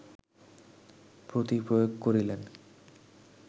প্রতিপ্রয়োগ করিলেন